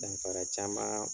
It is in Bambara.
Danfara caman